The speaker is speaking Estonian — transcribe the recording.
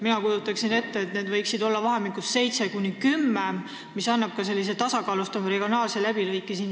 Mina kujutan ette, et need võiksid olla vahemikus 7–10, mis annaks ka siin saalis sellise tasakaalustava regionaalse läbilõike.